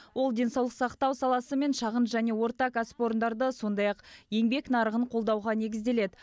ол денсаулық сақтау саласы мен шағын және орта кәсіпорындарды сондай ақ еңбек нарығын қолдауға негізделеді